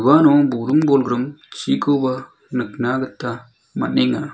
uano buring-bolgrim chikoba nikna gita man·enga.